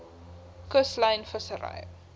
kuslyn vissery